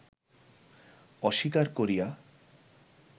অস্বীকার করিয়া